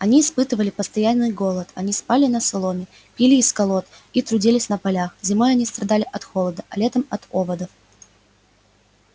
они испытывали постоянный голод они спали на соломе пили из колод и трудились на полях зимой они страдали от холода а летом от оводов